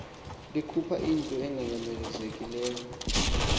likhupha into enganyamezelekiyo